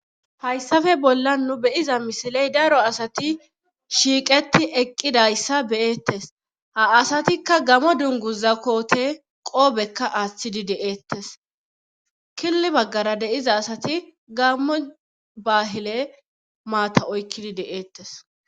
hayssafe bolla nu beyiza misiley daro asati shiiqeti eqqidayssa beyettes ha asatikka gamo dunguza koote qoobekka aaththidi de7eettes killi baggara deiza asati gammo baahile maata oykkidi de7eettes